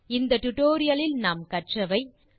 இந்த டுடோரியலில் நாம் கற்றவை 1